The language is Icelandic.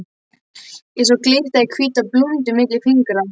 Ég sá glitta í hvíta blúndu milli fingra.